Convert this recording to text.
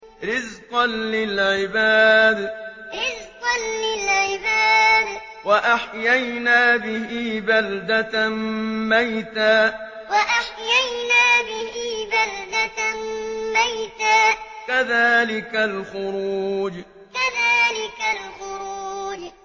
رِّزْقًا لِّلْعِبَادِ ۖ وَأَحْيَيْنَا بِهِ بَلْدَةً مَّيْتًا ۚ كَذَٰلِكَ الْخُرُوجُ رِّزْقًا لِّلْعِبَادِ ۖ وَأَحْيَيْنَا بِهِ بَلْدَةً مَّيْتًا ۚ كَذَٰلِكَ الْخُرُوجُ